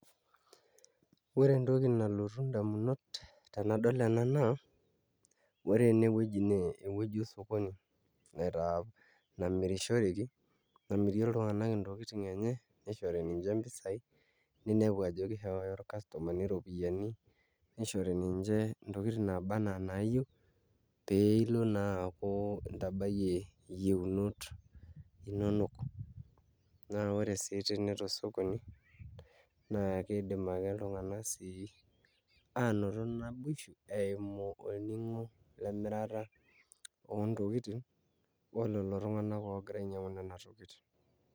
Ore entoki nalotu indamunot tenadol ena naa ore enewueji naa ewueji osokoni namirishoreki namirie iltung'anak ntokiting' enye nishori ninche mpisaai ninepu ajo kishooyo irkastomani iropiyiani nishori ninche ntokitin naaba enaa inaayieu pee ilo naa aaku intabayie iyieunot inonok naa ore sii tene tosokoni naa kiidim ake iltung'anak sii aanotoo naboishu eimu olning'o lemirata oontokitin o lelo tung'anak oogira ainyiang'u nena tokitin.